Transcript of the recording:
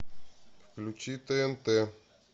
включи тнт